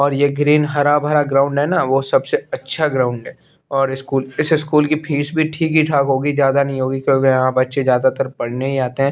और यह ग्रीन हरा भरा ग्राउंड है ना वह सबसे अच्छा ग्राउंड है और स्कूल इस स्कूल की फीस भी ठीक ही ठाक होगी ज्यादा नहीं होगी क्योंकि यहां बच्चे ज्यादातर पढ़ने ही आते है।